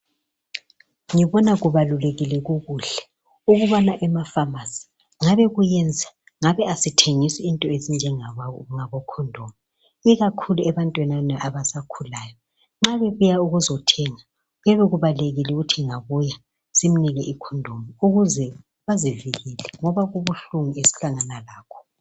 Ngibona kubalulekile kukuhle ukubana emafamasi ngabe kuyenza ngabe asithengisi into ezinjengabokhondomu ikakhulu ebantwini abasakhulayo nxa bebuya ukuzothenga kuyabe kubalulekile ukuthi engabuya simnike ikhondomu ukuze azivikele ngoba kubuhlungu esihlangana lakho